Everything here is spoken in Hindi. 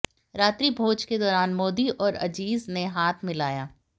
रात्रिभोज के दौरान मोदी और अजीज ने हाथ मिलाया